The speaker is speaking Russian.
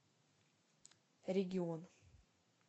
регион